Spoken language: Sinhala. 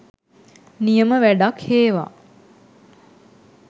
නියම වැඩක් හේවා